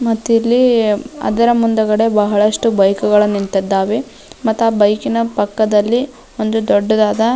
ಮತ್ತಿಲ್ಲಿ ಅದರ ಮುಂದುಗಡೆ ಬಹಳಷ್ಟು ಬೈಕ್ ಗಳು ನಿಂತಿದ್ದಾವೆ ಮಾತ್ತಾ ಬೈಕಿನ ಪಕ್ಕದಲಿ ಒಂದು ದೊಡ್ಡದಾದ --